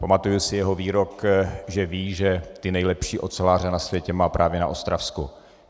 Pamatuji si jeho výrok, že ví, že ty nejlepší oceláře na světě má právě na Ostravsku.